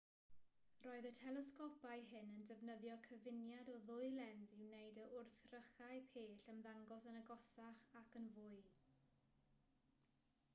roedd y telesgopau hyn yn defnyddio cyfuniad o ddwy lens i wneud i wrthrychau pell ymddangos yn agosach ac yn fwy